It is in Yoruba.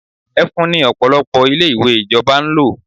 Ẹfun ni Ọ̀pọ̀lọpọ̀ ilé-ìwé ìjọba ń lò.